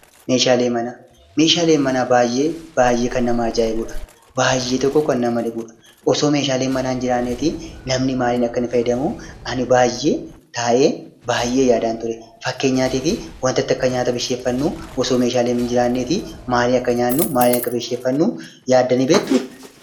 Meeshaaleen manaa baayyee baayyee kan namatti toludha. Baayyee tokko kan nama dhibudha. Osoo meeshaaleen manaa hin jiru ta'ee, namni maaliin akka fayyadamu ani taa'ee baayyee yaadaan ture. Fakkeenyaaf maaliin akka nyaata bilcheeffannuu osoo meeshaaleen hin jiraanne ta'ee , maaliin akka nyaanu yaaddanii beektuu?